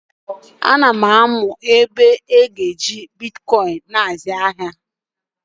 A na m amụ otu esi eji Bịtkoin àzụ ahịa